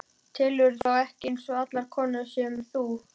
Telurðu þá ekki eins og allar konurnar sem þú?